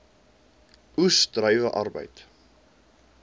oes druiwe arbeid